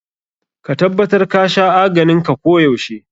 Ka tabbatar ka sha aganin ka ko yaushe.